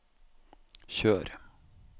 kjør